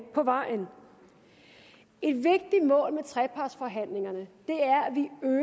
på vejen et vigtigt mål med trepartsforhandlingerne